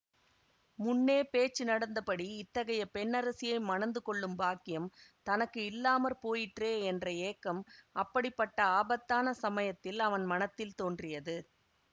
முன்னே பேச்சு நடந்தபடி இத்தகைய பெண்ணரசியை மணந்து கொள்ளும் பாக்கியம் தனக்கு இல்லாம போயிற்றே என்ற ஏக்கம் அப்படிப்பட்ட ஆபத்தான சமயத்தில் அவன் மனத்தில் தோன்றியது